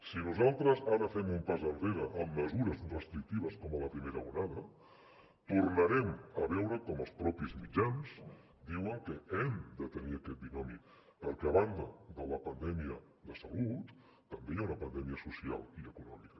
si nosaltres ara fem un pas enrere amb mesures restrictives com a la primera onada tornarem a veure com els mitjans diuen que hem de tenir aquest binomi perquè a banda de la pandèmia de salut també hi ha una pandèmia social i econòmica